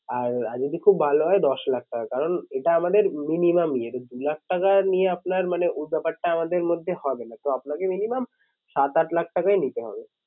আর আর যদি খুব ভালো হয় দশ লাখ টাকা কারণ এটা আমাদের minimum ইয়ে। তো দু লাখ টাকা নিয়ে আপনার মানে ওই ব্যাপারটা আমাদের মধ্যে হবে না। তো আপনাকে minimum সাত আট লাখ টাকাই নিতে হবে।